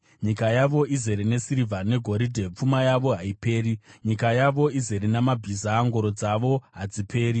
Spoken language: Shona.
Nyika yavo izere nesirivha negoridhe; pfuma yavo haiperi. Nyika yavo izere namabhiza; ngoro dzavo hadziperi.